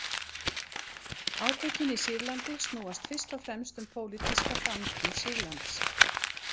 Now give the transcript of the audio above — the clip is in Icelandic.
Átökin í Sýrlandi snúast fyrst og fremst um pólitíska framtíð Sýrlands.